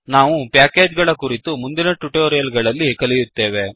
ನಾವು ಪ್ಯಾಕೇಜ್ ಗಳ ಕುರಿತು ಮುಂದಿನ ಟ್ಯುಟೋರಿಯಲ್ ಗಳಲ್ಲಿ ಕಲಿಯುತ್ತೇವೆ